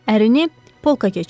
Ərini polkə keçirin.